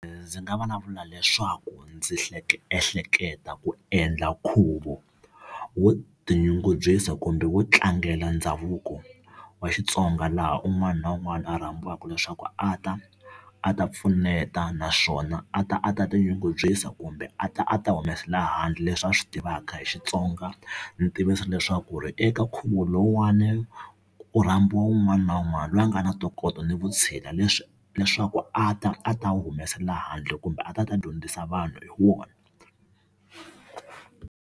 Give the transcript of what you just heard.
Ndzi nga vulavula leswaku ndzi hleketa ehleketa ku endla nkhuvo wo tinyungubyisa kumbe wo tlangela ndhavuko wa Xitsonga, laha un'wana na un'wana a rhambiwaka leswaku a ta a ta pfuneta naswona a ta a ta tinyungubyisa kumbe a ta a ta humesela handle leswi a swi tivaka hi Xitsonga. Ndzi tivisa leswaku eka nkhuvo lowuwani Ku rhambiwa wun'wana na wun'wana loyi a nga na ntokoto ni vutshila leswaku a ta a ta wu humesela handle kumbe a ta ta dyondzisa vanhu hi wona.